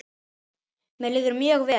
Mér líður mjög vel.